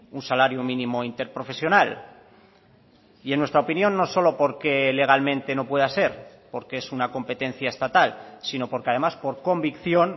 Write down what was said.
un salario mínimo interprofesional y en nuestra opinión no solo porque legalmente no pueda ser porque es una competencia estatal sino porque además por convicción